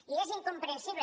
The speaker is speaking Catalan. i és incomprensible